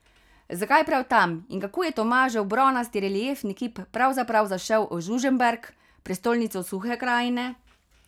Zakaj prav tam in kako je Tomažev bronasti reliefni kip pravzaprav zašel v Žužemberk, prestolnico Suhe krajine?